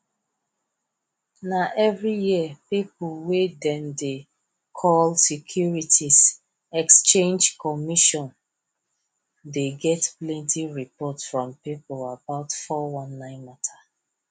na every year people wey dem dey call securities exchange commission dey get plenty report from people about 419 matter